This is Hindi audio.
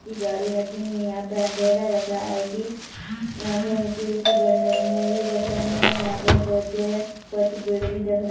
ची गाड़ी रखी हैं यहाँ पे अँधेरा दिख रहा हैं की यहाँ पे ऊँची ऊँची बिल्डिंगे भी दिख रही हैं यहाँ पे कुछ कुछ पेड़ भी दिख--